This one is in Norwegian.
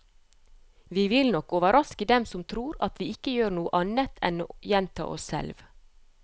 Vi vil nok overraske dem som tror at vi ikke gjør annet enn å gjenta oss selv.